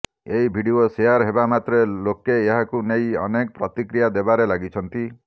ଏହି video share ହେବା ମାତ୍ରେ ଲୋକେ ଏହାକୁ ନେଇ ଅନେକ ପ୍ରତିକ୍ରିୟା ଦେବାରେ ଲାଗିଛନ୍ତି